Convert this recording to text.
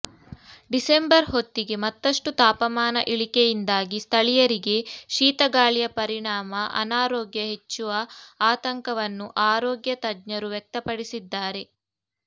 December ಹೊತ್ತಿಗೆ ಮತ್ತಷ್ಟು ತಾಪಮಾನ ಇಳಿಕೆಯಿಂದಾಗಿ ಸ್ಥಳೀಯರಿಗೆ ಶೀತಗಾಳಿಯ ಪರಿಣಾಮ ಅನಾರೋಗ್ಯ ಹೆಚ್ಚುವ ಆತಂಕವನ್ನು ಆರೋಗ್ಯ ತಜ್ಞರು ವ್ಯಕ್ತಪಡಿಸಿದ್ದಾರೆ